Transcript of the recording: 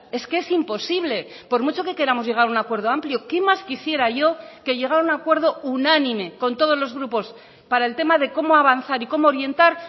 es que es imposible por mucho que queramos llegar a un acuerdo amplio qué más quisiera yo que llegar a un acuerdo unánime con todos los grupos para el tema de cómo avanzar y cómo orientar